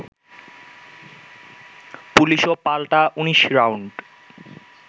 পুলিশও পাল্টা ১৯ রাউন্ড